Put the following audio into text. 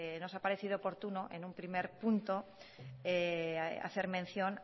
nos ha parecido oportuno en un primer punto hacer mención